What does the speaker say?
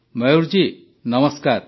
ମୟୂର ଜୀ ନମସ୍କାର